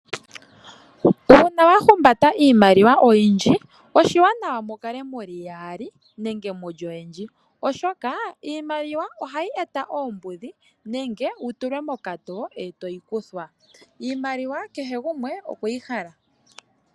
Uuna wahumbata iimaliwa oyindji, oshiiwanawa mukale muli yaali, nenge muli oyendji, oshoka iimaliwa ohayi eta oombudhi, nenge wutulwe mokatoo. Iimaliwa kehe gumwe okweyi hala.